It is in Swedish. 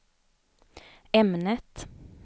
ämnet